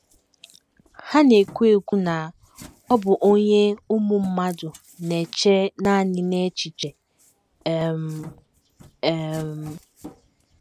Ha na - ekwu - ekwu na ọ bụ onye ụmụ mmadụ na - eche nanị n’echiche um. um